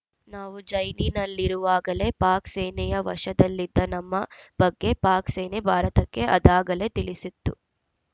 ನಾವು ಜೈಲಿನಲ್ಲಿರುವಾಗಲೇ ಪಾಕ್‌ ಸೇನೆಯ ವಶದಲ್ಲಿದ್ದ ನಮ್ಮ ಬಗ್ಗೆ ಪಾಕ್‌ ಸೇನೆ ಭಾರತಕ್ಕೆ ಅದಾಗಲೇ ತಿಳಿಸಿತ್ತು